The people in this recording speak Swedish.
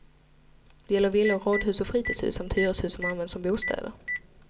Det gäller villor, radhus och fritidshus samt hyreshus som används som bostäder.